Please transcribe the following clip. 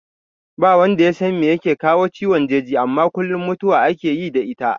Ba wanda yasan me yake kawo ciwon jeji amma kuma kullum mutuwa ake yi da ita